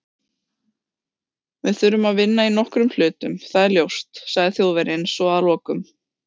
Við þurfum að vinna í nokkrum hlutum- það er ljóst, sagði Þjóðverjinn svo að lokum